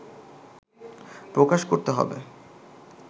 প্রকাশ করতে হবে